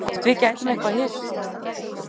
Hvort við gætum eitthvað hist.